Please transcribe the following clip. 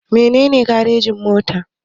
Mene ne garejin-mota?